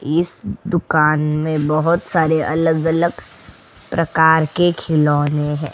इस दुकान में बहोत सारे अलग-अलग प्रकार के खिलौने हैं।